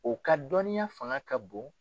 O ka dɔnniya fanga ka bon